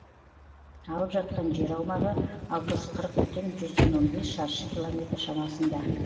алып жатқан жер аумағы алты жүз қырық бүтін жүзден он бес шаршы километр шамасында